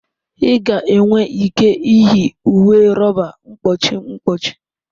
Ị ga-enwe ike iyi uwe rọba mkpuchi mkpuchi.